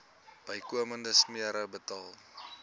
bykomende smere betaal